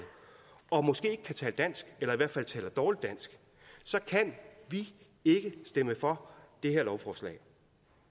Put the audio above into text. og måske ikke kan tale dansk eller i hvert fald taler dårligt dansk så kan vi ikke stemme for det her lovforslag